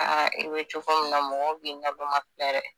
i bɛ cogo min na mɔgɔw bi naloma filɛ dɛ!